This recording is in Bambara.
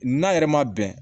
N'a yɛrɛ ma bɛn